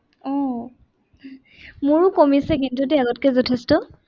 আহ মোৰো কমিছে কিন্তু দেই আগতকে যথেষ্ট।